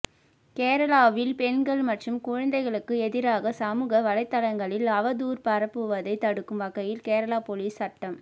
கேரளாவில் பெண்கள் மற்றும் குழந்தைகளுக்கு எதிராக சமூக வலைத்தளங்களில் அவதூறு பரப்புவதை தடுக்கும் வகையில் கேரள போலீஸ் சட்டம்